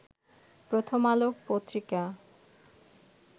প্রথম আলো পত্রিকা